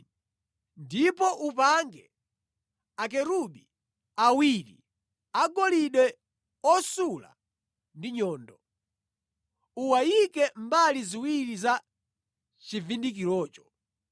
Ndipo upange Akerubi awiri agolide osula ndi nyundo, uwayike mbali ziwiri za chivundikirocho,